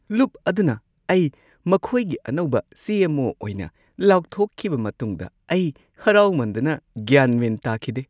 ꯂꯨꯞ ꯑꯗꯨꯅ ꯑꯩ ꯃꯈꯣꯏꯒꯤ ꯑꯅꯧꯕ ꯁꯤ. ꯑꯦꯝ. ꯑꯣ. ꯑꯣꯏꯅ ꯂꯥꯎꯊꯣꯛꯈꯤꯕ ꯃꯇꯨꯡꯗ ꯑꯩ ꯍꯔꯥꯎꯃꯟꯗꯅ ꯒ꯭ꯌꯥꯟ ꯃꯦꯟ ꯇꯥꯈꯤꯗꯦ꯫